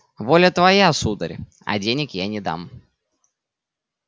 воля твоя сударь а денег я не дам